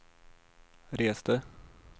reste